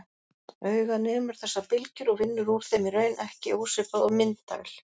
Augað nemur þessar bylgjur og vinnur úr þeim í raun ekki ósvipað og myndavél.